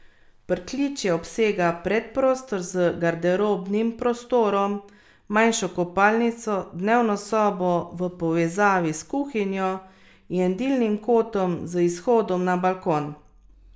Pritličje obsega predprostor z garderobnim prostorom, manjšo kopalnico, dnevno sobo v povezavi s kuhinjo in jedilnim kotom z izhodom na balkon.